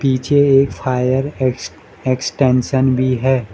पीछे एक fire ex extension भी है।